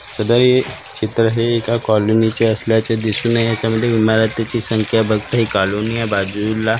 सदर ये चित्र हे एका कॉलनीचे असल्याचे दिसून ये याच्यामध्ये मला त्याची संख्या बघता हि कॉलनीला बाजूला.